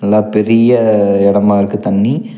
நல்லா பெரிய எடமா இருக்கு தண்ணி.